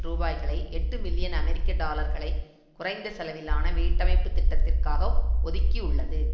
ரூபாய்களை எட்டு மில்லியன் அமெரிக்க டாலர்களை குறைந்த செலவிலான வீடமைப்புத் திட்டத்திற்காக ஒதுக்கியுள்ளது